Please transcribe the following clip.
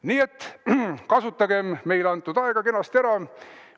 Nii et kasutagem meile antud aega kenasti ära!